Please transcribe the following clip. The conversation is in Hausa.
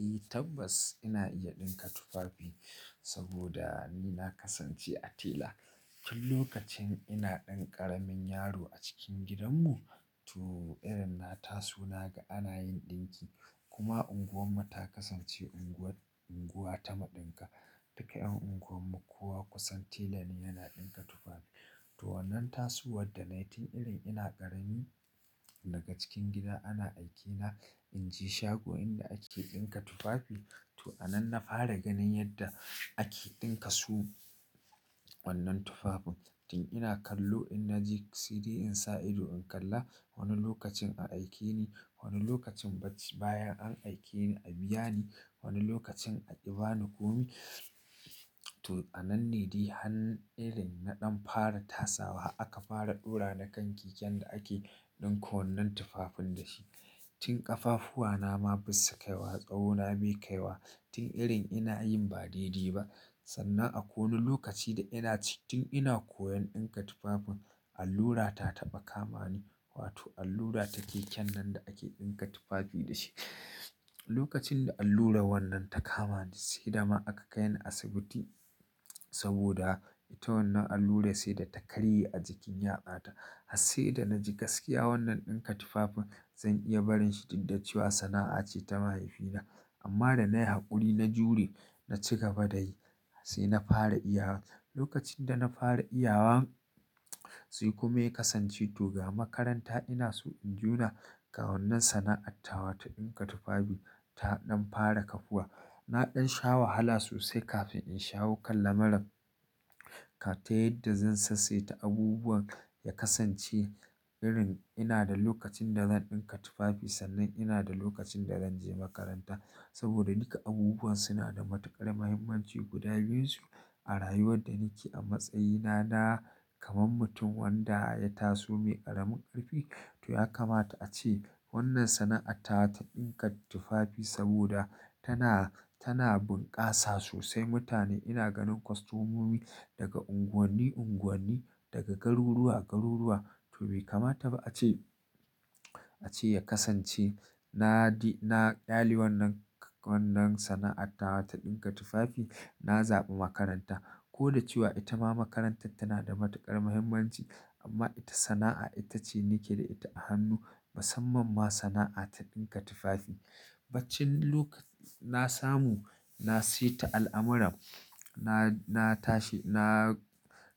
Eh tabbas ina iya ɗinka tufafi saboda ni na kasance a tela. Tun lokacin ina ɗan ƙaramin yaro a cikin gidanmu to irin na taso na ga ana yin ɗinki kuma unguwarmu ta kasance unguwa ta maɗinka. Duka 'yan unguwarmu kowa kusan tela ne yana ɗinka tufafi. To wannan tasowar da na yi tun irin ina ƙarami daga cikin gida ana aikena in je shago inda ake ɗinka tufafi. To a nan na fara ganin yadda ake ɗinka su wannan tufafin. Tun ina kallo in na ji saidai in sa ido in kalla. Wani lokacin a aikeni, wani lokacin baccin bayan an aikeni a biya ni, wani lokacin a yi bani komai. To a nan ne dai har irin na ɗan fara tasawa aka fara ɗora ni kan keken da ake ɗinka wannan tufafin da shi. Tun ƙafafuwana ma ba su kai wa, tsawona bai kai wa. Tun irin ina yin ba daidai ba. Sannan akwai wani lokaci da ina cikin ina koyan ɗinka tufafin allura ta taɓa kama ni. Wato allura ta keken nan da ake ɗinka tufafi da shi. Lokacin da allura wannan ta kama ni sai dama aka kai ni asibiti saboda ta wannan allura sai da ta karye a jikin 'yatsata. Hassai da na ji gaskiya wannan ɗinka tufafin zan iya barin shi duk da cewa sana'a ce ta mahaifina. Amma da na yi haƙuri na jure na ci gaba da yi har sai na fara iyawa. Lokacin da na fara iyawa sai kuma ya kasance to ga makaranta ina so in juna ga wannan sana'attawa ta ɗinka tufafi ta ɗan fara kafuwa. Na ɗan sha wahala sosai kafin in shawo kan lamurran ta yadda zan sassaita abubuwan ya kasance irin ina da lokacin da zan ɗinka tufafi sannan ina da lokacin da zan je makaranta saboda duka abubuwan suna da matuƙar muhimmanci guda biyunsu. A rayuwar da nike a matsayina na kamar mutum wanda ya taso mai ƙaramin ƙarfi. To ya kamata ace wannan sana'a ta ta ɗinka tufafi saboda tana, tana bunƙasa sosai mutane. Ina ganin kwastomomi daga unguwanni unguwanni, daga garuruwa garuruwa to bai kamata ba a ce, a ce ya kasance na di-- na kyali wannan, wannan sana'attawa ta ɗinka tufafi. Na zaɓi makaranta ko da cewa ita ma makarantar tana da matuƙar muhimmanci amma ita sana'a ita ce nike da ita a hannu. Musamman ma sana'a ta ɗinka tufafi. Baccin lokacin na samu na sayi ta al'amuran na, na tashi na